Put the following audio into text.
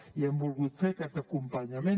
i hem volgut fer aquest acompanyament